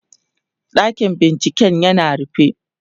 ɗakin binciken yana rufe